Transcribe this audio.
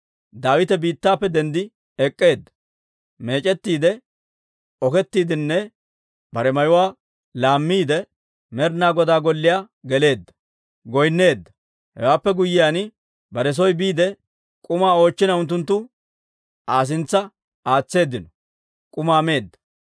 Daawite biittappe denddi ek'k'eedda. Meec'ettiide, oketiidenne bare mayuwaa laammiide, Med'inaa Godaa golliyaa geleedda; goynneedda. Hewaappe guyyiyaan bare soo biide, k'umaa oochchina unttunttu Aa sintsa aatseeddino; k'umaa meedda.